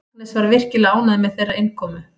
Agnes er virkilega ánægð með þeirra innkomu.